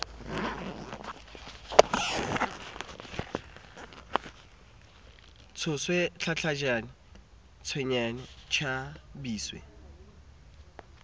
tshoswe tlatlatjwe tshwengwe tsha biswe